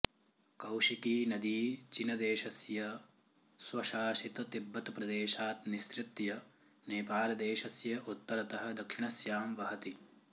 कौशिकी नदी चिनदेशस्य स्वशासित तिब्बत प्रदेशात् निसृत्य नेपालदेशस्य उत्तरतः दक्षिणस्यां वहति